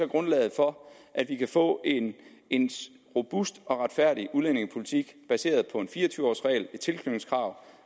grundlaget for at vi kan få en robust og retfærdig udlændingepolitik baseret på en fire og tyve års regel